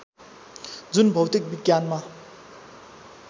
जुन भौतिक विज्ञानमा